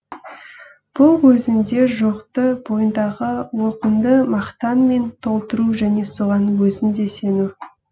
бұл өзінде жоқты бойыңдағы олқыңды мақтанмен толтыру және соған өзің де сену